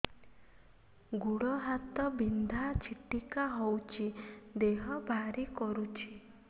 ଗୁଡ଼ ହାତ ବିନ୍ଧା ଛିଟିକା ହଉଚି ଦେହ ଭାରି କରୁଚି